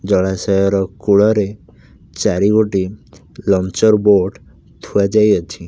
ଜଳାଶୟର କୂଳରେ ଚାରିଗୋଟି ଲଞ୍ଚର ବୋଟ ଥୁଆଯାଇଅଛି।